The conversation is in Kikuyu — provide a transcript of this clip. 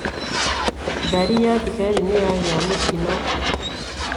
Ngari ya thigari nĩ yagĩa mũtino.